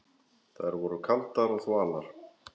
Þær voru kaldar og þvalar.